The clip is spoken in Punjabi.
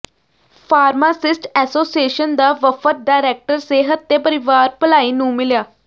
ਫਾਰਮਾਸਿਸਟ ਐਸੋਸੀਏਸ਼ਨ ਦਾ ਵਫ਼ਦ ਡਾਇਰੈਕਟਰ ਸਿਹਤ ਤੇ ਪਰਿਵਾਰ ਭਲਾਈ ਨੂੰ ਮਿਲਿਆ